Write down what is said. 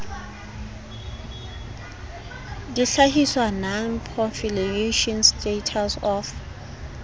dihlahiswa non proliferation status of